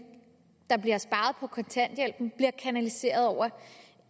der bliver sparet på kontanthjælpen bliver kanaliseret over